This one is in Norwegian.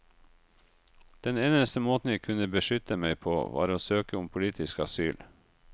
Den eneste måten jeg kunne beskytte meg på, var å søke om politisk asyl.